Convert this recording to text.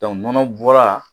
kɔnɔ bɔra